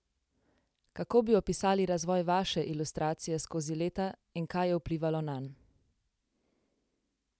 Kako bi opisali razvoj vaše ilustracije skozi leta in kaj je vplivalo nanj?